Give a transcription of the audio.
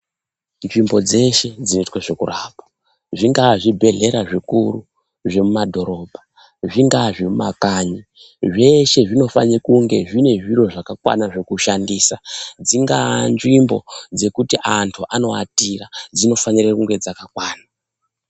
Nzvimbo dzeshe dzinoitwe zvekurapa, zvingave zvibhedhlera zvikuru zvemumadhorobha, zvingaa zvemumakanyi, zveshe zvinofane kunge zvine zviro zvakakwana zvekushandisa. Dzingaa nzvimbo dzekuti antu anoatira, dzinofanira kunge dzakakwana.